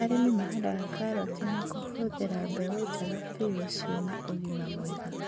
Arĩmi mahandaga karoti na kũhuthĩra mbegũ njega biu na ciĩna na ũgima mwega